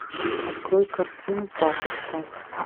открой картину папочка